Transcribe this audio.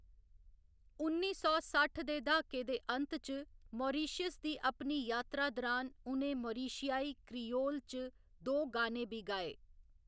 उन्नी सौ सट्ठ दे दहाके दे अंत च मारीशस दी अपनी यात्रा दरान उ'नें मारिशियाई क्रियोल च दो गाने बी गाए।